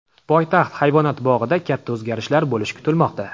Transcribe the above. Poytaxt hayvonot bog‘ida katta o‘zgarishlar bo‘lishi kutilmoqda.